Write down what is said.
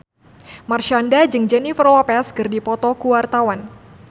Marshanda jeung Jennifer Lopez keur dipoto ku wartawan